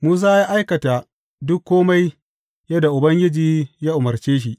Musa ya aikata dukan kome yadda Ubangiji ya umarce shi.